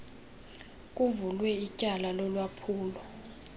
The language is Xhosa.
kuvulwe ityala lolwaphulo